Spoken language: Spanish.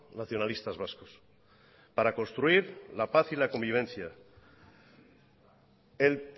nacionalistas vascos para construir la paz y la convivencia el